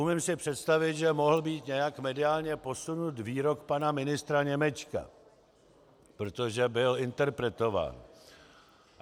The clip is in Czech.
Umím si představit, že mohl být nějak mediálně posunut výrok pana ministra Němečka, protože byl interpretován.